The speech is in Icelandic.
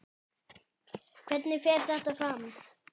Hvernig fer þetta fram?